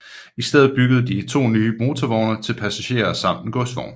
I stedet byggede to nye motorvogne til passagerer samt en godsvogn